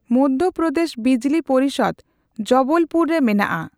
ᱢᱚᱫᱭᱚ ᱯᱨᱚᱫᱮᱥ ᱵᱤᱡᱞᱤ ᱯᱚᱨᱤᱥᱚᱫ ᱡᱚᱵᱚᱞᱯᱩᱨ ᱨᱮ ᱢᱮᱱᱟᱜᱼᱟ᱾